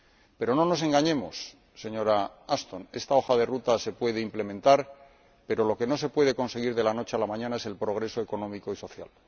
Pero no nos engañemos, señora Ashton, esta hoja de ruta se puede implementar, pero lo que no se puede conseguir de la noche a la mañana es el progreso económico y social.